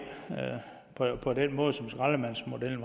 på den måde som skraldemandsmodellen